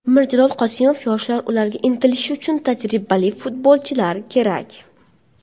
Mirjalol Qosimov: Yoshlar ularga intilishi uchun tajribali futbolchilar kerak.